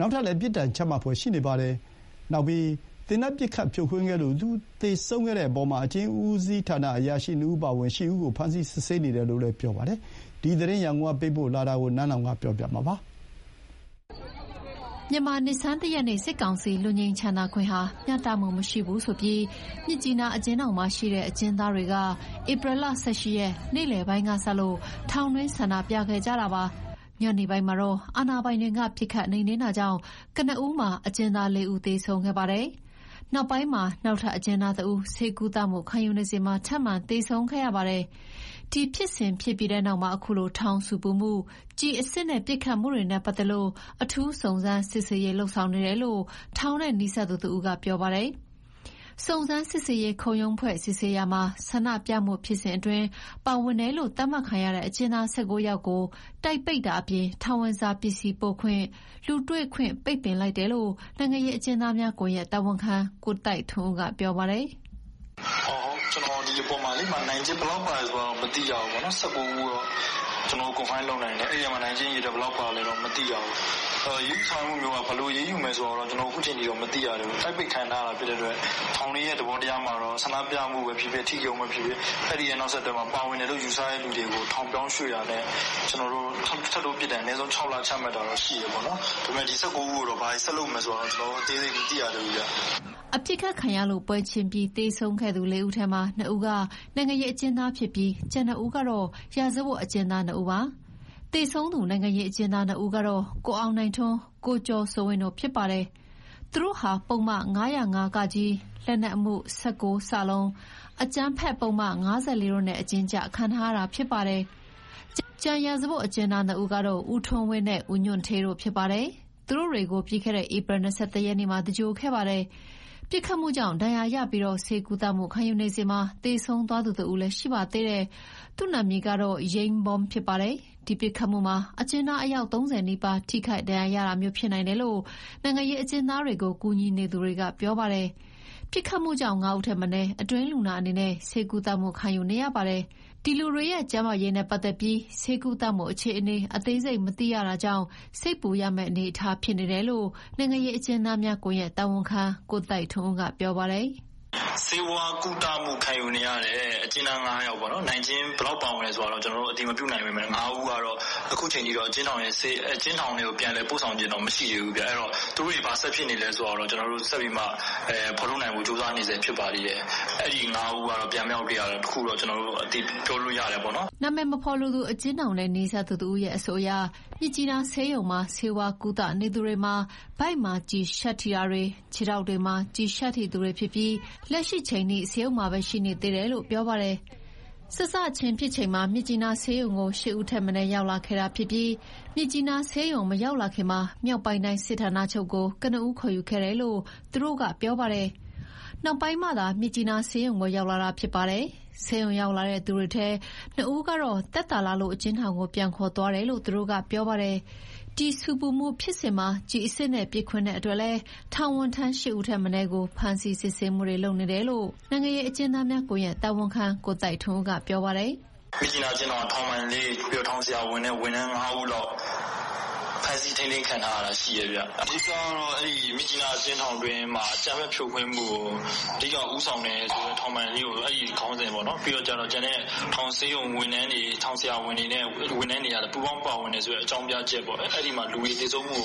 နောက်ထပ် ပြစ်ဒဏ်ချမှတ်ဖွယ်ရှိနေပါတယ်။ လူသေဆုံးတဲ့အထိပစ်ခတ်ခဲ့တဲ့ ဒီဖြစ်စဉ်မှာ အကျဉ်းဦးစီးအရာရှိတချို့ကိုလည်း ဖမ်းဆီးစစ်ဆေးနေတယ်လို့သိရပါတယ်။ ဒီအကြောင်း သတင်းပေးပို့ချက်ကို နန်းလောင်ဝ်က တင်ပြပေးထားပါတယ်။ မြန်မာနှစ်ဆန်းတရက်နေ့ စစ်ကောင်စီ လွတ်ငြိမ်းချမ်းသာခွင့်ဟာ မျှတမှုမရှိဘူးဆိုပြီး မြစ်ကြီးနား အကျဉ်းထောင်မှာရှိတဲ့ အကျဥ်းသားတွေက ဧပြီလ ၁၈ ရက်၊ နေ့လယ်ပိုင်းကစလို့ ထောင်တွင်း ဆန္ဒပြခဲ့တာပါ။ ညနေပိုင်းမှာတော့ အာဏာပိုင်တွေက ပစ်ခတ်နှိမ်နင်းတာကြောင့် ကနဦးမှာ အကျဉ်းသား ၄ ဦး သေဆုံးခဲ့ပါတယ်။ နောက်ထပ် အကျဉ်းသားတဦးလည်း ဆေးကုသမှုခံနေစဉ်မှာ ထပ်မံသေဆုံးခဲ့ရပါတယ်။ ဒီဖြစ်စဉ်ရဲ့နောက်မှာ အခုလိုထောင်ဆူပူမှု ၊ ကျည်အစစ်နဲ့ပစ်ခတ်မှုတွေနဲ့ပတ်သက်လို့ အထူးစုံစမ်းစစ်ဆေးနေတယ်လို့ ထောင်နဲ့နီးစပ်သူတဦးကပြောပါတယ်။ စုံစမ်းစစ်ဆေးရေးခုံရုံးဖွဲ့စည်းစစ်ဆေးရာမှာ ဆန္ဒပြမှုဖြစ်စဉ်မှာပါဝင်တယ်လို့ သတ်မှတ်ခံရတဲ့ အကျဉ်းသား ၁၉ ယောက်ကို တိုက်ပိတ်တာအပြင် ထောင်ဝင်စာပစ္စည်းပို့ခွင့်၊ လူတွေ့ ခွင့် ပိတ်ပင်လိုက်တယ်လို့ နိုင်ငံရေးအကျဥ်းသားများကွန်ရက် တာဝန်ခံ ကိုသိုက်ထွန်းဦး က ပြောပါတယ်။ "ဒီထဲ နိုင်ကျဉ်းဘယ်လောက်ပါလဲ မသိရသေးဘူး။ ၁၉ ဦးတော့ ကျနော်တို့ confirm လုပ်နိုင်တယ်။ အရေးယူဆောင်ရွက်မှာတွေက ဘယ်လို အရေးယူဆောင်ရွက်မလဲတော့ မသိရသေးဘူး။ ခုက တိုက်ပိတ်ခံထားရတာဖြစ်တဲ့အတွက်ပေါ့။ ထောင်တွင်းသဘောတရားအရကတော့ ဆန္ဒပြတာဖြစ်ဖြစ်၊ အဓိကရုန်းပဲဖြစ်ဖြစ်- အဲနောက်ဆက်တွဲ ပါဝင်တယ်လို့ယူဆရသူတွေကို ထောင်ပြောင်းရွှေ့တာ၊ ထပ်တိုးပြစ်ဒဏ် အနည်းဆုံး ၆ လချတာတော့ရှိတယ်။ ဒီ ၁၉ ဦးကိုတော့ ဘာတွေထပ်လုပ်မယ် မသိရသေးဘူးဗျ။" ပစ်ခတ်ခံရလို့ ပွဲချင်းပြီးသေဆုံးခဲ့သူ ၄ ဦးထဲမှာ ၂ ဦးက နိုင်ငံရေးအကျဉ်းသားဖြစ်ပြီး ကျန် ၂ ဦးကတော့ ရာဇဝတ်အကျဉ်းသားတွေ ဖြစ်ကြပါတယ်။ သေဆုံးသူ နိုင်ငံရေးအကျဉ်းသား ၂ ဦးကတော့ ကိုအောင်နိုင်ထွန်းနဲ့ ကိုကျော်စိုးဝင်း ဖြစ်ပါတယ်။ သူတို့ဟာ ပုဒ်မ ၅၀၅-က၊ လက်နက်မှု ၁၉ ၊ အကြမ်းဖက်ပုဒ်မ ၅၄ တို့နဲ့အကျဉ်းကျခံထားရတာဖြစ်ပါတယ်။ ကျန်ရာဇဝတ်အကျဉ်းသား ၂ ဦးကတော့ ဦးထွန်းဝင်းနဲ့ ဦးညွှန့်ဌေး တို့ ဖြစ်ပါတယ်။ သူတို့တွေကို ပြီးခဲ့တဲ့ ဧပြီ ၂၁ ရက်နေ့မှာ သင်္ဂြိုဟ်ပေးခဲ့ပါတယ်။ ပစ်ခတ်မှုကြောင့် ဒဏ်ရာရပြီး ဆေးကုသနေစဉ် သေဆုံးသွားသူကတော့ ယိန်းဘောမ် ဖြစ်ပါတယ်။ ဒီပစ်ခတ်မှုမှာ အကျဉ်းသားအယောက် ၃၀ နီးပါးထိခိုက်နိုင်တယ်လို့ နိုင်ငံရေးအကျဉ်းသားတွေကို ကူညီနေသူတွေက ပြောပါတယ်။ ပစ်ခတ်မှုကြောင့် ၅ ဦးထက်မနည်း အတွင်းလူနာအနေနဲ့ ဆေးကုသမှုခံယူနေရပါတယ်။ ဒီလူတွေကျန်းမာရေးနဲ့ပတ်သက်လို့ ဆေးဝါးကုသမှု အခြေအနေအသေးစိတ်မသိရတာမို့ စိတ်ပူရမယ့်အနေအထားဖြစ်နေတယ်လို့ နိုင်ငံရေးအကျဥ်းသားများကွန်ရက် တာဝန်ခံ ကိုသိုက်ထွန်းဦး က ပြောပါတယ်။ "ဆေးဝါးကုသမှုခံနေရသူ ၅ ယောက်မှာ နိုင်ကျဉ်းဘယ်လောက်ပါလဲဆိုတာ ကျနော်တို့ အတည်မပြုနိုင်သေးပါဘူး။ ဒီ ၅ ဦးကတော့ ခုချိန်ထိ အကျဉ်းထောင်ထဲ ပြန်လည်ရောက်ရှိတာမရှိသေးပါဘူး။ သူတို့တွေ ဘာဆက်ဖြစ်နေလဲဆိုတာဆက်ပြီးမှ ကျနော်တို့ဖော်ထုတ်နိုင်ဖို့ကြိုးစားနေတယ်။ အဲ ၅ ယောက်က ပြန်မရောက်သေးတာတော့ အတည်ပြုလို့ရပါတယ်။" အမည်မဖော်လိုသူ အကျဉ်းထောင်နဲ့နီးစပ်သူတဦးအဆိုအရ မြစ်ကြီးနားဆေးရုံမှာဆေးဝါးကုသနေသူတွေမှာ ဝမ်းဗိုက်မှာ ကျည်ရှပ်ထိတာ၊ ခြေထောက်တွေမှာ ကျည်ရှပ်ထိသူတွေ ဖြစ်ပြီး လက်ရှိချိန်ထိ ဆေးရုံမှာပဲရှိသေးတယ်လို့ ပြောပါတယ်။ စစချင်းဖြစ်ချိန်မှာ မြစ်ကြီးနားဆေးရုံကို ၈ ဦးထက်မနည်း ရောက်လာခဲ့ပြီး မြစ်ကြီးနားဆေးရုံမရောက်လာခင် မြောက်ပိုင်းတိုင်းစစ်ဌာနချုပ်ကို ကနဦးခေါ် ယူခဲ့တယ်လို့ သူကပြောပါတယ်။ နောက်ပိုင်းမှသာ မြစ်ကြီးနားဆေးရုံကိုရောက်လာတာဖြစ်ပါတယ်။ ဆေးရုံရောက်လာတဲ့သူတွေထဲ ၂ ဦးကတော့ သက်သာလာလို့ အကျဉ်းထောင်ကို ပြန်ခေါ်သွားတယ်လို့သူကပြောပါတယ်။ ဒီဆူပူမှုဖြစ်စဉ်မှာ ကျည်အစစ်နဲ့ ပစ်ခွင်းတဲ့အတွက်လည်း ထောင်ဝန်ထမ်း ၈ ဦးထက်မနည်းကိုလည်း ဖမ်းဆီးစစ်ဆေးနေတယ်လို့ နိုင်ငံရေးအကျဥ်းသားများကွန်ရက်တာဝန်ခံ ကိုသိုက်ထွန်းဦး က ပြောပါတယ်။ "မြစ်ကြီးနားအကျဉ်းထောင်က ထောင်ပိုင်လေး၊ ထောင်ဆရာဝန်နဲ့ ဝန်ထမ်း ၅ ဦးလောက် ဖမ်းဆီးထိန်းသိမ်းခံထားရတာတော့ရှိတယ်။ အဓိက,ကတော့ မန္တလေးအကျဉ်းထောင်တွင်းမှာ အကြမ်းဖက်ဖြိုခွင်းမှုကို အဓိကဦးဆောင်တယ်ဆိုတဲ့ထောင်ပိုင်လေးကို အဲခေါင်းစဉ်နဲ့ပေါ့။ နောက် ကျန်တဲ့ထောင်ဆေးရုံဝန်ထမ်းတွေနဲ့ ထောင်ဆရာဝန်တွေကိုလည်း ပူးပေါင်းပါဝင်တယ်ဆိုတဲ့အကြောင်းပြချက်ပေါ့။အဲမှာ "လူတွေသေဆုံးမှု